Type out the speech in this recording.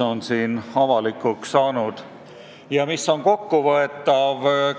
Seda saab kokku võtta